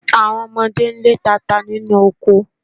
Àwọn ọmọdé ń lé tata nínú oko